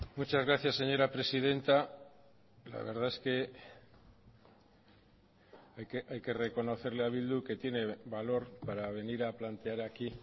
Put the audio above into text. muchas gracias señora presidenta la verdad es que hay que reconocerle a bildu que tiene valor para venir a plantear aquí